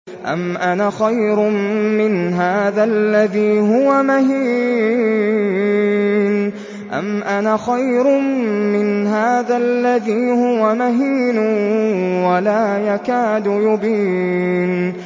أَمْ أَنَا خَيْرٌ مِّنْ هَٰذَا الَّذِي هُوَ مَهِينٌ وَلَا يَكَادُ يُبِينُ